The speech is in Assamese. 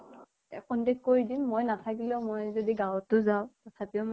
এ contact কৰি দিম মই নাথাকিলেও। মই যদি গাঁৱতো যাওঁ তথাপিও